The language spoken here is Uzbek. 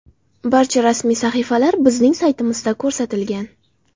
Barcha rasmiy sahifalar bizning saytimizda ko‘rsatilgan”.